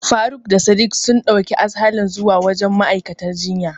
Faruk da Sadik sun ɗauki Aslahan zuwa wajen ma'aikaciyar jinyar.